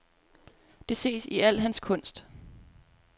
Det ses i al hans kunst.